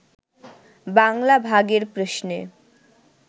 বাংলা ভাগের প্রশ্নে